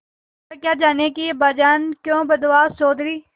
वह क्या जानें कि अब्बाजान क्यों बदहवास चौधरी